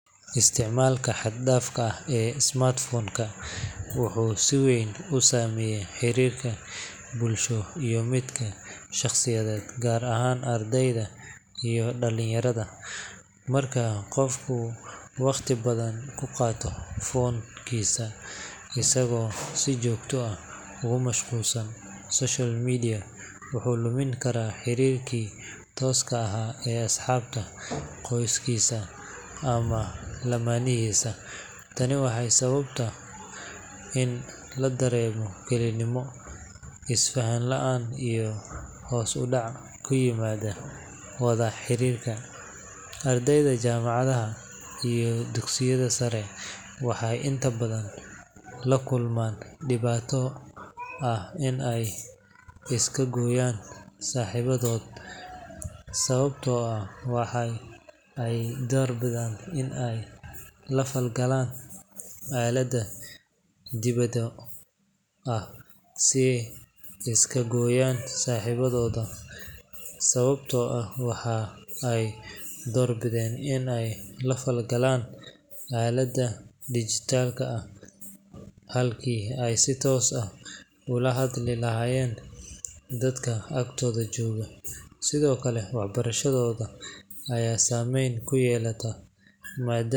isticmaalka xad-dhaafka ah ee smartphone-ka wuxuu si weyn u saameeyaa xiriirka bulsho iyo mid shakhsiyeed, gaar ahaan ardayda iyo dhalinyarada. Marka qofku waqti badan ku qaato phone-kiisa isagoo si joogto ah ugu mashquulsan social media, wuxuu lumin karaa xiriirkii tooska ahaa ee asxaabta, qoyskiisa, ama lamaanihiisa. Tani waxay sababtaa in la dareemo kelinimo, is-faham la’aan iyo hoos u dhac ku yimaada wada xiriirka. Ardayda jaamacadaha iyo dugsiyada sare waxay inta badan la kulmaan dhibaato ah in ay iska gooyaan saaxiibadood sababtoo ah waxa ay doorbidaan in ay la falgalaan aaladaha dhijitaalka ah halkii ay si toos ah ula hadli lahaayeen dadka agtooda jooga. Sidoo kale, waxbarashadooda ayaa saameyn ku yeelata maadaama.